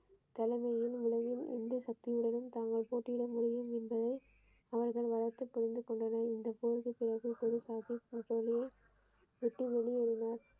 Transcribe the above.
தலைமையுடன் உலகில் எந்த சக்தியுடனும் நாங்கள் போட்டியிட முடியும் என்று அவர்கள் பலத்தை புரிந்து கொண்டனர் விட்டு வெளியேறினார்.